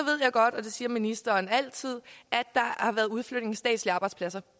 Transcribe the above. jeg godt og det siger ministeren altid at der har været udflytning af statslige arbejdspladser